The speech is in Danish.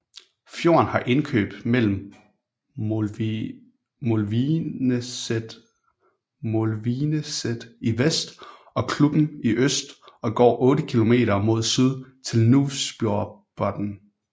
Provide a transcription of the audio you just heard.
Fjorden har indløb mellem Molvineset i vest og Klubben i øst og går otte kilometer mod syd til Nuvsfjordbotn